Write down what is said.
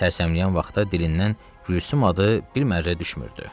Sərsəmləyən vaxtı dilindən Gülsüm adı bir mərrə düşmürdü.